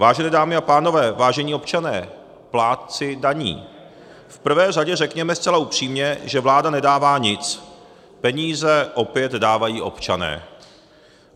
Vážené dámy a pánové, vážení občané, plátci daní, v prvé řadě řekněme zcela upřímně, že vláda nedává nic, peníze opět dávají občané.